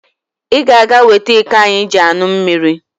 Ị ga-aga wete iko anyị ji aṅụ mmiri.